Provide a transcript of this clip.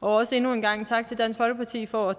og også endnu en gang tak til dansk folkeparti for at